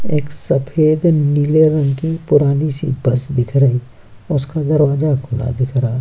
एक सफेद नीले रंग की पुरानी-सी बस दिख रही उसका दरवाजा खुला दिख रहा --